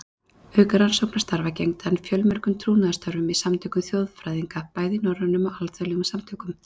Auk rannsóknarstarfa gegndi hann fjölmörgum trúnaðarstörfum í samtökum þjóðfræðinga, bæði í norrænum og alþjóðlegum samtökum.